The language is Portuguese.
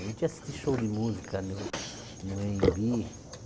A gente ia assistir show de música no no é en bi.